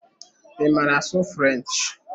Ị maara asụ French?